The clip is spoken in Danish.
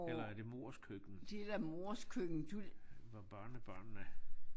Eller er det mors køkken hvor børnebørnene